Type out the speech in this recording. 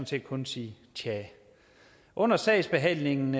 set kun sige tja under sagsbehandlingen